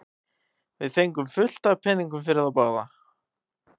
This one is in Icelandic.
Við fengum fullt af peningum fyrir þá báða.